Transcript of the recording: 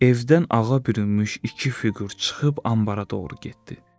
Evdən ağa bürünmüş iki fiqur çıxıb anbara doğru getdi.